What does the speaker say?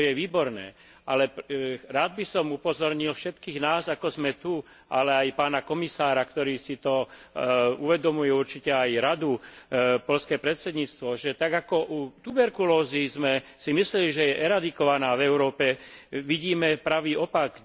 To je výborné, ale rád by som upozornil všetkých nás, ako sme tu, ale aj pána komisára, ktorí si to uvedomujú, určite aj Radu, poľské predsedníctvo, že tak ako u tuberkulózy sme si mysleli, že je eradikovaná v Európe, vidíme pravý opak.